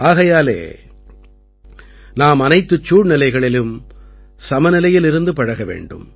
ஆகையாலே நாம் அனைத்துச் சூழ்நிலைகளிலும் சமநிலையில் இருந்து பழக வேண்டும்